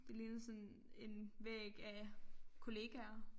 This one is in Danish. Det ligner sådan en væg af kollegaer